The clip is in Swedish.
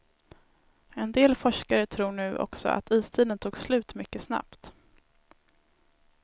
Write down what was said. En del forskare tror nu också att istiden tog slut mycket snabbt.